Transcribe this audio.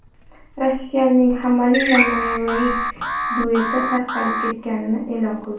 Rossiyaning HammAli & Navai dueti tarqalib ketganini e’lon qildi.